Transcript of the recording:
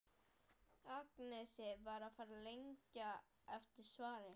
Agnesi er farið að lengja eftir svari.